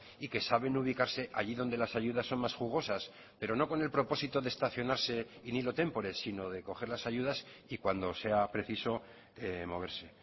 y que saben ubicarse allí donde las ayudas son más jugosas pero no con el propósito de estacionarse in illo témpore sino de coger las ayudas y cuando sea preciso moverse